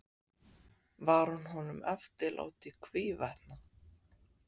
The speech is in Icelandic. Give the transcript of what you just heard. Var hún honum eftirlát í hvívetna.